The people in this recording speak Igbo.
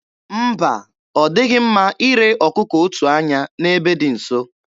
Mba, ọ dịghị mma ire ọkụkụ otu anya n'ebe dị nso.